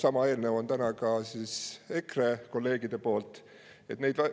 Täna on sama eelnõu EKRE kolleegide.